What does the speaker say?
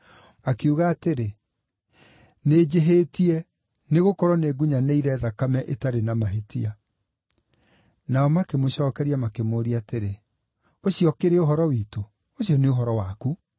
Akiuga atĩrĩ, “Nĩnjĩhĩtie, nĩgũkorwo nĩngunyanĩire thakame ĩtarĩ na mahĩtia.” Nao makĩmũcookeria makĩmũũria atĩrĩ, “Ũcio ũkĩrĩ ũhoro witũ? Ũcio nĩ ũhoro waku.”